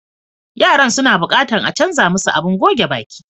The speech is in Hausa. Yaran suna buƙatan a canza musu abin goge baƙi.